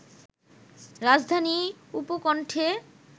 রাজধানীর উপকণ্ঠে